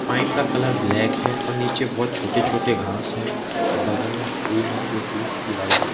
pipe का colour black है और नीचे बहुत छोटे छोटे घास है बगल में फूल है जो की गुलाबी कलर --